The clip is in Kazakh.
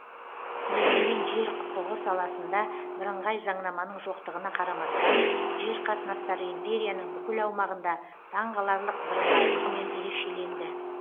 дегенмен жер құқығы саласында бірыңғай заңнаманың жоқтығына қарамастан жер қатынастары империяның бүкіл аумағында таңғаларлық бірыңғайлығымен ерекшеленді